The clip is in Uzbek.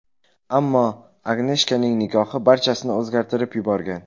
Ammo Agneshkaning nikohi barchasini o‘zgartirib yuborgan.